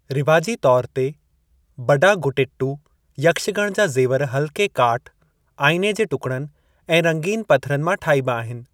रिवाजी तौरु ते, बडागुटिट्टु यक्षगण जा जे़वर हल्‍के काठ, आइने जे टुकड़नि ऐं रंगीन पथरनि मां ठाइबा आहिनि।